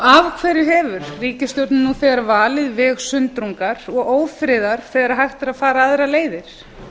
af hverju hefur ríkisstjórnin nú þegar valið leið sundrungar og ófriðar þegar hægt er að fara aðrar leiðir